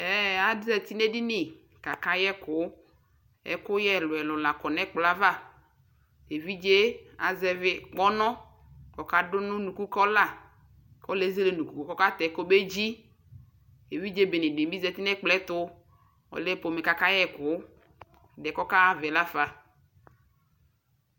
Ɛɛ azati nʋ edini kʋ akayɛ ɛkʋ Ɛkʋyɛ ɛlʋɛlʋ la kɔ nʋ ɛkplɔ yɛ ava Evidze yɛ azɛvi kpɔnɔ kʋ ɔkadʋ kʋ unukʋ ka ɔla kʋ okezele unuku kʋ ɔkatɛ kʋ ɔkedzi Evidze bene bi zati nʋ ɛkplɔ yɛ tʋ Ɔlɛ fomɛ kʋ akayɛ ɛkʋ Ɛdiɛ kʋ ɔkaɣa ava yɛ la fa